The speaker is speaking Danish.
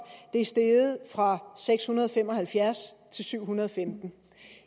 er steget fra seks hundrede og fem og halvfjerds til syv hundrede og femten